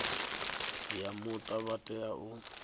ya muta vha tea u